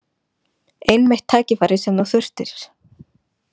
Einmitt tækifærið sem þú þurftir.